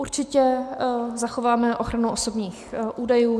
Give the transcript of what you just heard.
Určitě zachováme ochranu osobních údajů.